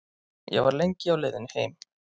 Ég var lengi á leiðinni heim.